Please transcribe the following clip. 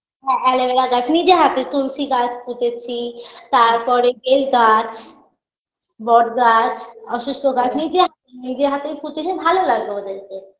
হ্যাঁ aloe vera গাছ নিজের হাতে তুলসী গাছ পুঁতেছি তারপরে বেল গাছ বট গাছ অসুস্থ গাছ নিজের নিজের হাতেই পুতেছি ভালো লাগতো ওদেরকে